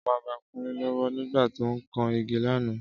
Ámà ba Kúnlé lọ́wọ́ nígbà tó ń kan igi lánàá